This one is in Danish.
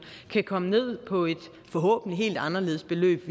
kan komme ned på et forhåbentlig helt anderledes beløb